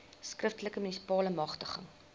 skriftelike munisipale magtiging